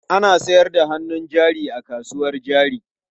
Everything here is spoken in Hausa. Ana sayar da hannun jari a kasuwar jari.